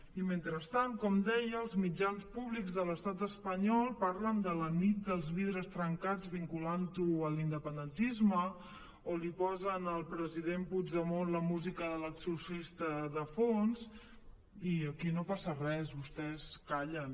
i mentrestant com deia els mitjans públics de l’estat espanyol parlen de la nit dels vidres trencats vinculant ho a l’independentisme o li posen al president puigdemont la música de l’exorcista de fons i aquí no passa res vostès callen